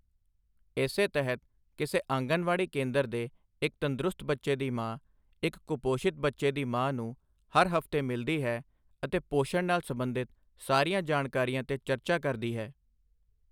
ਇਸੇ ਤਹਿਤ ਕਿਸੇ ਆਂਗਣਵਾੜੀ ਕੇਂਦਰ ਦੇ ਇੱਕ ਤੰਦਰੁਸਤ ਬੱਚੇ ਦੀ ਮਾਂ, ਇੱਕ ਕੁਪੋਸ਼ਿਤ ਬੱਚੇ ਦੀ ਮਾਂ ਨੂੰ ਹਰ ਹਫ਼ਤੇ ਮਿਲਦੀ ਹੈ ਅਤੇ ਪੋਸ਼ਣ ਨਾਲ ਸਬੰਧਿਤ ਸਾਰੀਆਂ ਜਾਣਕਾਰੀਆਂ ਤੇ ਚਰਚਾ ਕਰਦੀ ਹੈ।